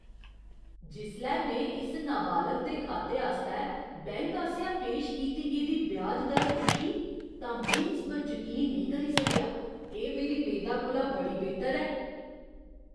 जिसलै में इस नाबालग दे खाते आस्तै बैंक आसेआ पेश कीती गेदी ब्याज दर दिक्खी तां में इस पर जकीन नेईं सकेआ! एह् मेरी मेदा कोला बड़ी बेहतर ऐ।